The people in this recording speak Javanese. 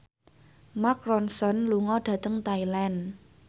Mark Ronson lunga dhateng Thailand